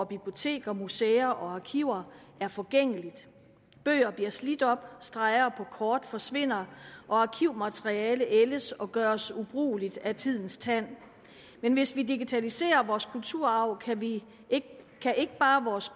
biblioteker museer og arkiver er forgængeligt bøger bliver slidt op streger kort forsvinder og arkivmateriale ældes og gøres ubrugeligt af tidens tand men hvis vi digitaliserer vores kulturarv kan ikke bare vores